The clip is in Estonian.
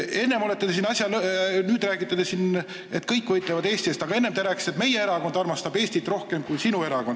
Nüüd te räägite siin, et kõik võitlevad Eesti eest, aga enne te rääkisite, et meie erakond armastab Eestit rohkem kui sinu erakond.